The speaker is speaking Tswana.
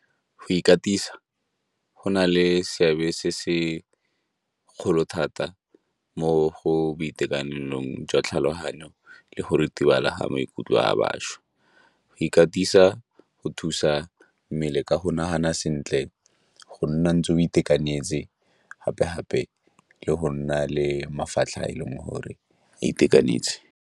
Go ikatisa, go na le seabe se segolo thata mo go boitekanelong jwa tlhaloganyo le go ritibala ga maikutlo a bašwa. Go ikatisa go thusa mmele ka go nagana sentle, go nna ntse o itekanetse, gape-gape le go nna le mafatlha a e leng gore a itekanetse.